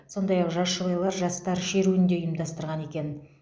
сондай ақ жас жұбайлар жастар шеруін де ұйымдастырған екен